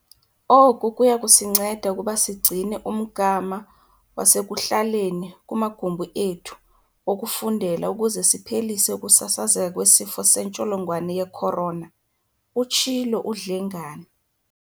"Oku kuyakusinceda ukuba sigcine umgama wasekuhlaleni kumagumbi ethu okufundela ukuze siphelise ukusasazeka kweSifo seNtsholongwane ye-Corona," utshilo uDlengane.